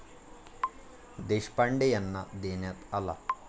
देशपांडे यांना देण्यात आला.